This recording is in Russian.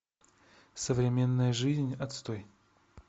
современная жизнь отстой